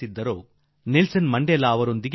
ಮಹಾನುಭಾವರನ್ನು ಕಾಣುವ ಅವಕಾಶ ನನಗೆ ಈ ಸಲ ದೊರಕಿತು